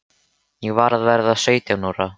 Ég var að verða sautján ára.